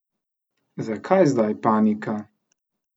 Zakaj zdaj panika?